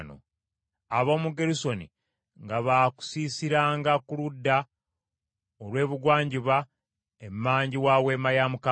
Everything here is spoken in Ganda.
Ab’omu Gerusoni nga baakusiisiranga ku ludda olw’ebugwanjuba emmanju wa Weema ya Mukama .